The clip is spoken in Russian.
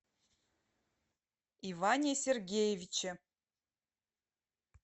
иване сергеевиче